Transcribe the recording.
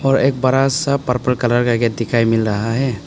और एक बड़ा सा पर्पल कलर का गेट दिखाई मिल रहा है।